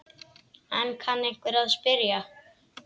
Enn kann einhver að spyrja.